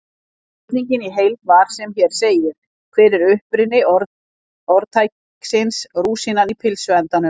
Spurningin í heild var sem hér segir: Hver er uppruni orðtækisins rúsínan í pylsuendanum?